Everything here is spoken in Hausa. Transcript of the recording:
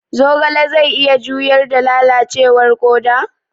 Zogale zai iya juyar da lalacewar koda?